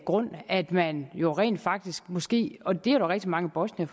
grund at man jo rent faktisk måske og det er rigtig mange bosniere